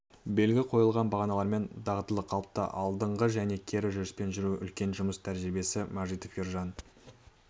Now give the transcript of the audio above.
белгі қойған бағаналармен дағдылы қалыпта алдыңғы және кері жүріспен жүру үлкен жұмыс тәжірибесі мажитов ержан